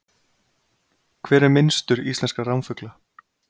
Hver er minnstur íslenskra ránfugla?